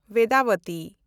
ᱵᱮᱫᱟᱵᱚᱛᱤ